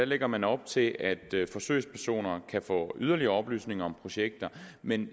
lægger man op til at forsøgspersoner kan få yderligere oplysninger om projekter men